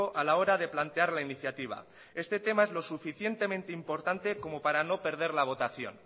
a la hora de plantear la iniciativa este tema es lo suficientemente importante como para no perder la votación